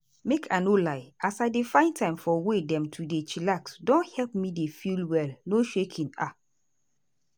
make i no lie as i dey find time for way dem to dey chillax don help me dey feel well no shaking. um